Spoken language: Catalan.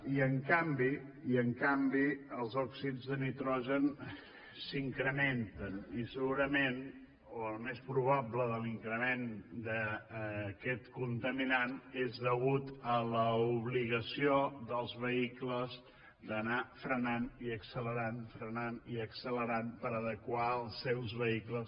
i en canvi i en canvi els òxids de nitrogen s’incrementen i segurament o el més probable de l’increment d’aquest contaminant és degut a l’obligació dels vehicles d’anar frenant i accelerant frenant i accelerant per adequar els seus vehicles